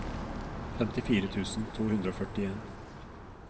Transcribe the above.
femtifire tusen to hundre og førtien